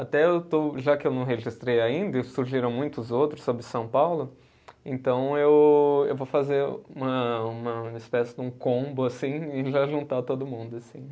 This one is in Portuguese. Até eu estou, já que eu não registrei ainda, e surgiram muitos outros sobre São Paulo, então eu eu vou fazer uma uma espécie de um combo assim e já juntar todo mundo assim